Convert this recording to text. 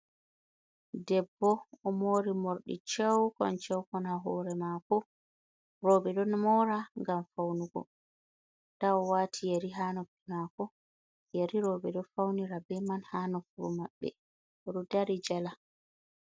Debbo, omori morɗi cewkon cewkon ha hoore mako, roɓe ɗo mora ngam fawnugo, nda owaati yeri ha noppi mako, yeri roɓe ɗo fawnira be man ha nofuru Mabɓe oɗon dari jala.